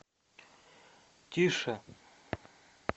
тише